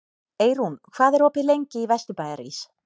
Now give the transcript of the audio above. Eyrún, hvað er opið lengi í Vesturbæjarís?